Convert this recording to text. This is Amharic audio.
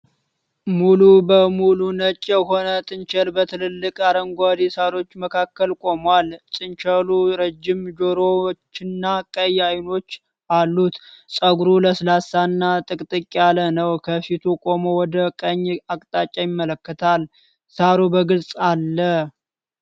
ሙሉ በሙሉ ነጭ የሆነ ጥንቸል በትላልቅ አረንጓዴ ሣሮች መካከል ቆሟል። ጥንቸሉ ረጅም ጆሮዎችና ቀይ አይኖች አሉት፤ ፀጉሩ ለስላሳና ጥቅጥቅ ያለ ነው። ከፊቱ ቆሞ ወደ ቀኝ አቅጣጫ ይመለከታል፣ ሣሩ በግልጽ አለ።